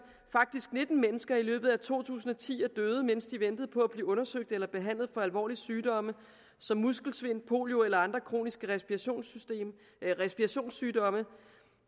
faktisk nitten mennesker i løbet af to tusind og ti døde mens de ventede på at blive undersøgt eller behandlet for alvorlig sygdomme som muskelsvind polio eller andre kroniske respirationssygdomme